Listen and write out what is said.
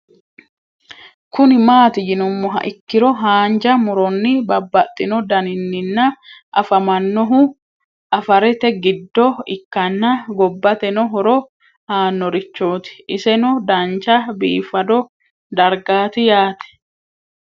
Kuni mati yinumoha ikiro hanja muroni babaxino daninina afamanohu afarete gido ikana gobateno horo aanorichot iseno dancha bifado dargati yaate